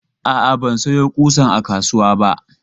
A'a, ban sayo ƙusan a kasuwa ba.